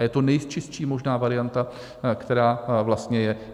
A je to nejčistší možná varianta, která vlastně je.